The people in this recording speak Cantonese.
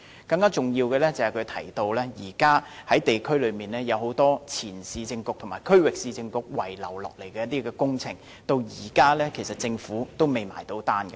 更重要的是，他提到現時在地區上有很多前市政局和區域市政局遺留下來的工程，至今政府其實仍未結帳。